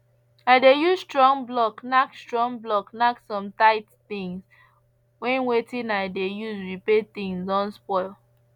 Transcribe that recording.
i dey use strong block nack strong block nack some tight things when wetin i dey use repair things don spoil